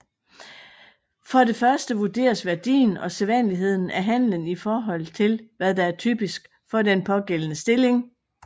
For det første vurderes værdien og sædvanligheden af handlen i forhold til hvad der er typisk for den pågældende stilling